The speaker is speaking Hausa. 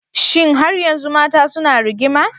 Shin har yanzu Mata suna rigima?